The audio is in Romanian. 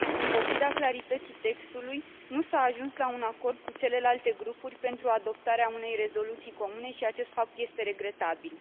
În pofida clarității textului, nu s a ajuns la un acord cu celelalte grupuri pentru adoptarea unei rezoluții comune și acest fapt este regretabil.